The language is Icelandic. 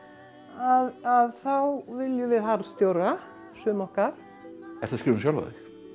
að þá viljum við harðstjóra sum okkar ertu að skrifa um sjálfa þig